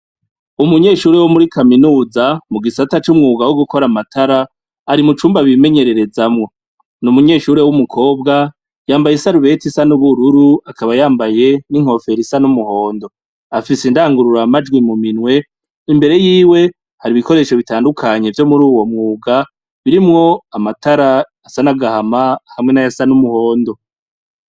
Umunyeshure wo muri kaminuza, mu gisata c'umwuga yo gukora amatara ari mu cumba bimenyererezamwo. N'umunyeshure w'umukobwa, yambaye isarubeti isa n'ubururu akaba yambaye n'inkofero isa n'umuhondo afise indangururamajwi mu minwe, imbere yiwe hari ibikoresho bitandukanye vyo muruwo mwuga birimwo amatara asa n'agahama hamwe n'ayasa n'umuhondo.